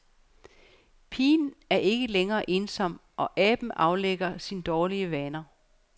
Pigen er ikke længere ensom, og aben aflægger sin dårlige vane.